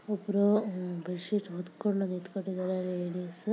ಇಬ್ಬರು ಅಹ್ bed sheet ಹೊದ್ಕೊಂಡು ನಿಂತಕೊಂಡಿದಾರೆ ಲೇಡೀಸ್ .